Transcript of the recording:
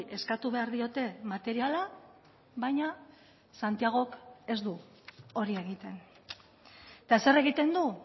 eskatu behar diote materiala baina santiagok ez du hori egiten eta zer egiten du